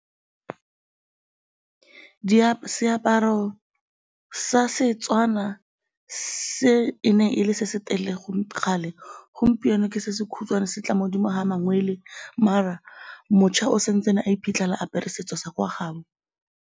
Seaparo sa Setswana se e ne e le se se telele kgale, gompieno ke se se khutshwane se tla mo 'dimo ga mangwele mara mošwa o sa ntse a iphitlhela a apere setso sa kwa gaabo.